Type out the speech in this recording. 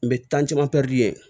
N bɛ ye